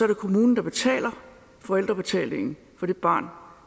det kommunen der betaler forældrebetalingen for det barn